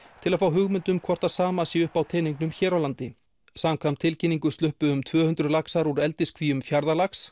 til að fá hugmynd um hvort það sama sé uppi á teningnum hér á landi samkvæmt tilkynningu sluppu um tvö hundruð laxar úr eldiskvíum